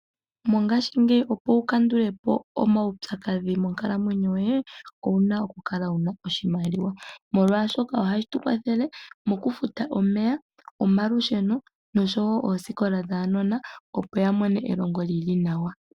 Mongashingeyi opo wu kandule po omaupyakadhi monkalamwenyo yoye owuna okukala wuna oshimaliwa. Molwashoka ohashi tu kwathele mokufuta omeya, omalusheno noshowo oosikola dhaanona opo ya mone elongo li li nawa.